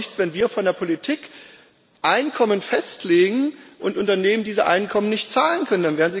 Es nützt doch nichts, wenn wir von der Politik Einkommen festlegen und Unternehmen diese Einkommen nicht zahlen können